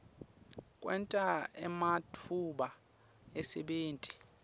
kwenta ematfuba emsebenti